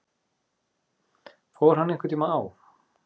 Fór hann einhverntíma á